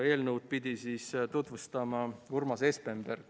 Eelnõu pidi tutvustama Urmas Espenberg.